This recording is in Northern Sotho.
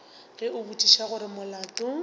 ge a botšiša gore molato